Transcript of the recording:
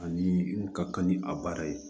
Ani ka kan ni a baara ye